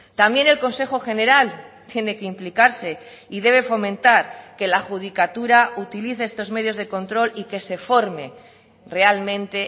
también el consejo general tiene que implicarse y debe fomentar que la judicatura utilice estos medios de control y que se forme realmente